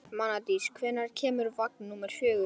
Mánadís, hvenær kemur vagn númer fjögur?